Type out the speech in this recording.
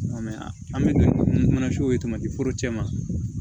an bɛ don mun na so ye tamati foro cɛ ma